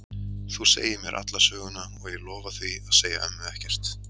Þú segir mér alla söguna og ég lofa því að segja ömmu ekkert.